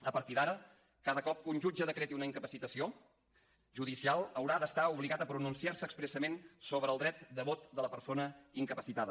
a partir d’ara cada cop que un jutge decreti una incapacitació judicial haurà d’estar obligat a pronunciar se expressament sobre el dret de vot de la persona incapacitada